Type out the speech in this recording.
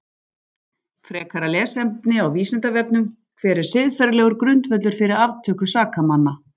Frekara lesefni á Vísindavefnum: Hver er siðferðilegur grundvöllur fyrir aftöku sakamanna?